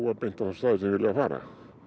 beint á þá staði sem þeir vilja fara